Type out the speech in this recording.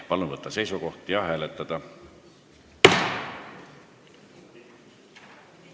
Palun võtta seisukoht ja hääletada!